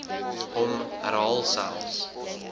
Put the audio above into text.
hom herhaal selfs